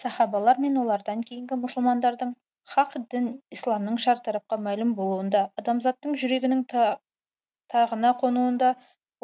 сахабалар мен олардан кейінгі мұсылмандардың хақ дін исламның шартарапқа мәлім болуында адамзаттың жүрегінің тағына қонуында